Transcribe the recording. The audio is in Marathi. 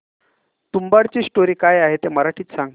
तुंबाडची स्टोरी काय आहे ते मराठीत सांग